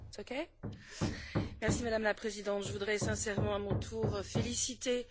Madame la Présidente, je voudrais sincèrement, à mon tour, féliciter nos rapporteurs, MM.